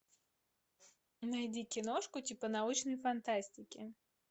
найди киношку типа научной фантастики